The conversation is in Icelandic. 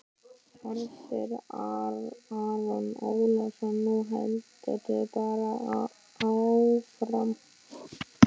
Hersir Aron Ólafsson: Nú heldurðu bara áfram?